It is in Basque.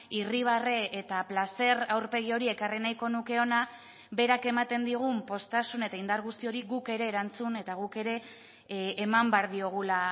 irribarre eta plazer aurpegi hori ekarri nahiko nuke hona berak ematen digun poztasun eta indar guzti hori guk ere erantzun eta guk ere eman behar diogula